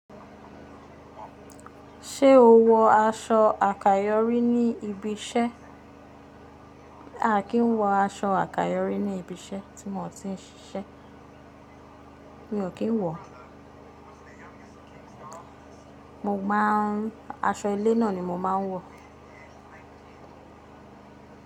Ṣé o wọ aṣọ àkayòrí ní ibi iṣẹ́? Aa kìí wọ aṣọ àkayòrí ní ibi iṣẹ́ tí mo ti ń ṣiṣẹ́. Mi ò kí ń wọ. Mo máa ń, aṣọ ilé náà ni mo máa ń wọ.